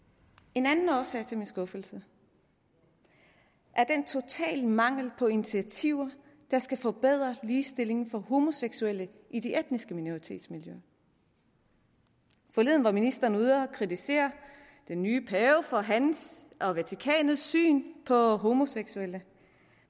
en anden årsag til min skuffelse er den totale mangel på initiativer der skal forbedre ligestillingen for homoseksuelle i de etniske minoritetsmiljøer forleden var ministeren ude at kritisere den nye pave for hans og vatikanets syn på homoseksuelle